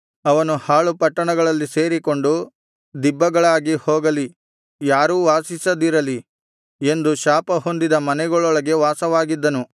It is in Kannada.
ಅವನು ಹಾಳು ಪಟ್ಟಣಗಳಲ್ಲಿ ಸೇರಿಕೊಂಡು ದಿಬ್ಬಗಳಾಗಿ ಹೋಗಲಿ ಯಾರೂ ವಾಸಿಸದಿರಲಿ ಎಂದು ಶಾಪಹೊಂದಿದ ಮನೆಗಳೊಳಗೆ ವಾಸವಾಗಿದ್ದನು